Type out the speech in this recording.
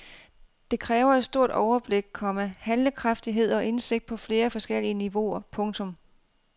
Det kræver stort overblik, komma handlekraftighed og indsigt på flere forskellige niveauer. punktum